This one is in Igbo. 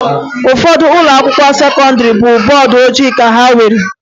Ụfọdụ ụlọakwụkwọ sekọndịrị bụ bọọdụ ojii ka ha nwere